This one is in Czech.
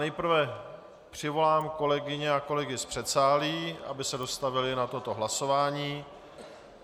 Nejprve přivolám kolegyně a kolegy z předsálí, aby se dostavili na toto hlasování.